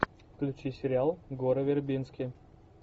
включи сериал горы вербински